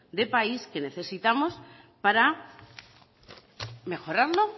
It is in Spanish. de país que necesitamos para mejorarlo